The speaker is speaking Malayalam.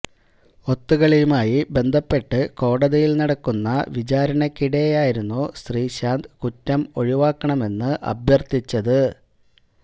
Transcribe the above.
ഒത്തുകളിയുമായി ബന്ധപ്പെട്ട് കോടതിയില് നടക്കുന്ന വിചാരണയ്ക്കിടെയായിരുന്നു ശ്രീശാന്ത് കുറ്റം ഒഴിവാക്കണമെന്ന് അഭ്യര്ത്ഥിച്ചത്